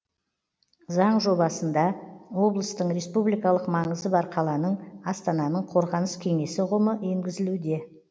заң жобасында облыстың республикалық маңызы бар қаланың астананың қорғаныс кеңесі ұғымы енгізілуде